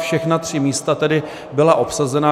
Všechna tři místa tedy byla obsazena.